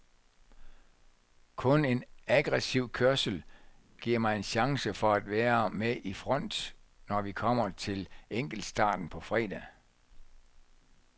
Kun en aggressiv kørsel giver mig en chance for at være med i front, når vi kommer til enkeltstarten på fredag.